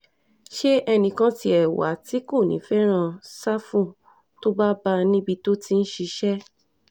ṣé ẹnì kan tiẹ̀ wà tí kò ní í fẹ́ràn ṣáfù tó bá bá a níbi tó ti ń ṣiṣẹ́